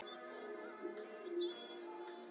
Há punt- stráin voru gegnblaut af rigningunni, og